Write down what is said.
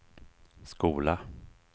skola